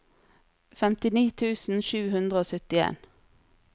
femtini tusen sju hundre og syttien